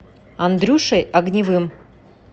андрюшей огневым